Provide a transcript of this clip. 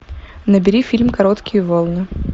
набери фильм короткие волны